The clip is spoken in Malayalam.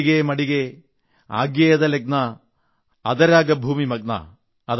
ഹോഡിഗേ മഡിഗേ ആഗ്യേദു ലഗ്നാ അദരാഗ ഭൂമി മഗ്നാ